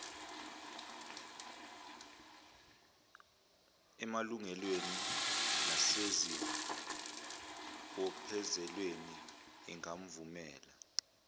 emalungelweni nasezibophezelweni engamvumela